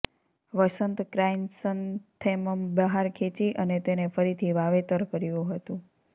વસંત chrysanthemum બહાર ખેંચી અને તેને ફરીથી વાવેતર કર્યું હતું